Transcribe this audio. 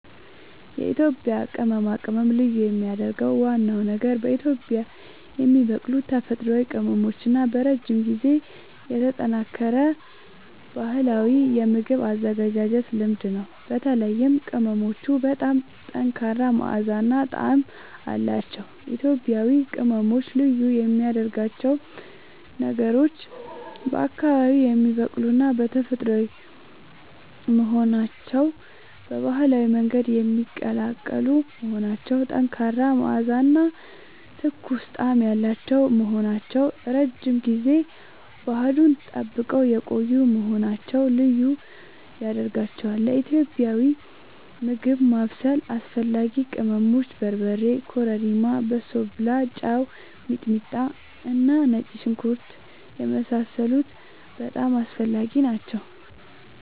የኢትዮጵያ ቅመማ ቅመም ልዩ የሚያደርገው ዋናው ነገር በአካባቢዉ የሚበቅሉ ተፈጥሯዊ ቅመሞች እና በረጅም ጊዜ የተጠናከረ ባህላዊ የምግብ አዘገጃጀት ልምድ ነው። በተለይም ቅመሞቹ በጣም ጠንካራ መዓዛ እና ጣዕም አላቸዉ። ኢትዮጵያዊ ቅመሞች ልዩ የሚያደርጋቸው ነገሮች፦ በአካባቢዉ የሚበቅሉና ተፈጥሯዊ መሆናቸዉ፣ በባህላዊ መንገድ የሚቀላቀሉ መሆናቸዉ፣ ጠንካራ መዓዛ እና ትኩስ ጣዕም ያላቸዉ መሆናቸዉ፣ ረዥም ጊዜ ባህሉን ጠብቀዉ የቆዪ መሆናቸዉ ልዪ ያደርጋቸዋል። ለኢትዮጵያዊ ምግብ ማብሰል አስፈላጊ ቅመሞች፦ በርበሬ፣ ኮረሪማ፣ በሶብላ፣ ጨዉ፣ ሚጥሚጣና ነጭ ሽንኩርት የመሳሰሉት በጣም አስፈላጊ ናቸዉ